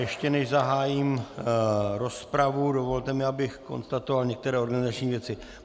Ještě než zahájím rozpravu, dovolte mi, abych konstatoval některé organizační věci.